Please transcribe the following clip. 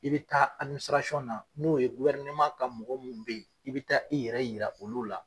I bi taa na n'o ka mɔgɔ munnu bɛ yen i bi taa i yɛrɛ yira olu la